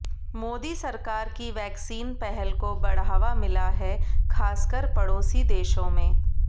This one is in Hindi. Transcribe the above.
मोदी सरकार की वैक्सीन पहल को बढ़ावा मिला है खासकर पड़ोसी देशों में